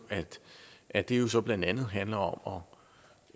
at det jo så blandt andet handler om